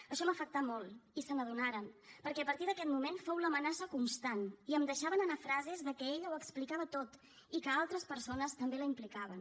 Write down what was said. això m’afectà molt i se n’adonaren perquè a partir d’aquest moment fou l’amenaça constant i em deixaven anar frases de que ella ho explicava tot i que altres persones també la implicaven